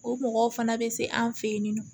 O mɔgɔw fana bɛ se an fɛ yen nɔ